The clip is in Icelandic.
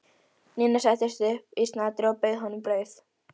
Nína settist upp í snatri og bauð honum brauð.